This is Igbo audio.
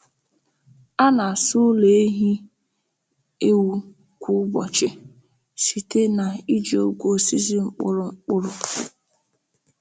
A na-asa ụlọ ehi ewu kwa ụbọchị site na iji ogwe osisi mkpụrụ mkpụrụ.